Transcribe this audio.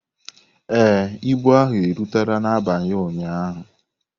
Ee, ibu ahụ rutere n'abalị ụnyaahụ.